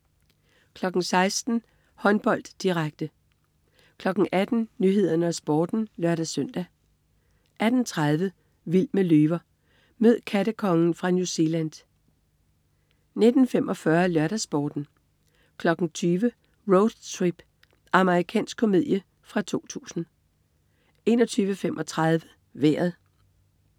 16.00 Håndbold, direkte 18.00 Nyhederne og Sporten (lør-søn) 18.30 Vild med løver. Mød "kattekongen" fra New Zealand 19.45 LørdagsSporten 20.00 Road Trip. Amerikansk komedie fra 2000 21.35 Vejret